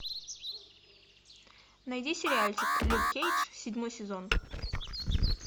найди сериальчик люк кейдж седьмой сезон